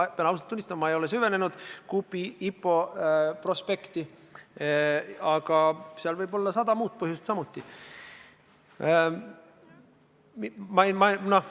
Pean ausalt tunnistama, et ma ei ole süvenenud Coopi IPO prospekti, aga seal võib olla ka sada muud põhjust.